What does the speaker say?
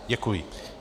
Děkuji.